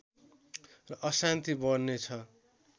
र अशान्ति बढ्ने छ